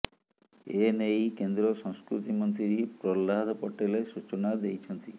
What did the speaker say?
ଏନେଇ କେନ୍ଦ୍ର ସଂସ୍କୃତି ମନ୍ତ୍ରୀ ପ୍ରହ୍ଲାଦ ପଟେଲ ସୂଚନା ଦେଇଛନ୍ତି